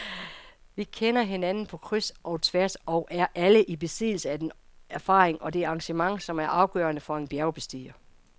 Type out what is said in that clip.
Vi kender hinanden på kryds og tværs og er alle i besiddelse af den erfaring og det engagement, som er afgørende for en bjergbestiger.